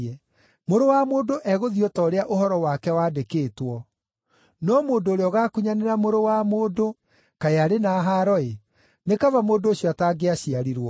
Mũrũ wa Mũndũ egũthiĩ o ta ũrĩa ũhoro wake wandĩkĩtwo. No mũndũ ũrĩa ũgaakunyanĩra Mũrũ wa Mũndũ kaĩ arĩ na haaro-ĩ! Nĩ kaba mũndũ ũcio atangĩaciarirwo.”